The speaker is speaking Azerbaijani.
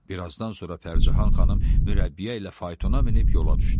Bir azdan sonra Pərcahan xanım mürəbbiyə ilə faytona minib yola düşdü.